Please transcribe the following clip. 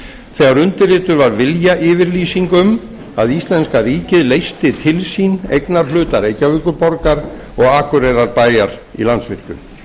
þegar undirrituð var viljayfirlýsing um að íslenska ríkið leysti til sín eignarhluta reykjavíkurborgar og akureyrarbæjar í landsvirkjun